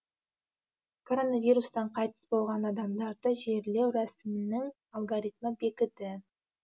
коронавирустан қайтыс болған адамдарды жерлеу рәсімінің алгоритмі бекіді